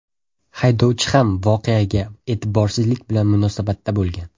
Haydovchi ham voqeaga e’tiborsizlik bilan munosabatda bo‘lgan.